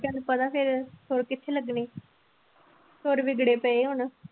ਤੈਨੂੰ ਪਤਾ ਫਿਰ ਸੁਰ ਕਿੱਥੇ ਲੱਗਣੇ ਸੁਰ ਵਿਗੜੇ ਪਏ ਹੁਣ।